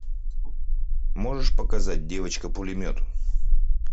можешь показать девочка пулемет